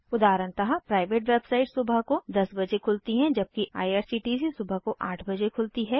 उदाहरणतः private website सुबह को 10 बजे खुलती है जबकि आईआरसीटीसी सुबह को 8 बजे खुलती है